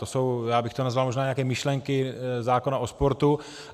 To jsou - já bych to nazval možná nějaké myšlenky zákona o sportu.